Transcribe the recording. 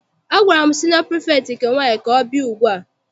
Agwara m siniọ pirifektị nke nwaanyị ka ọ bịa ugbua!